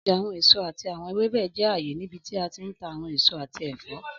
Ọja awọn eso ati awọn ewebẹ jẹ aaye nibiti a ti n ta awọn eso ati ẹfọ.